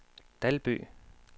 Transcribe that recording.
Dalby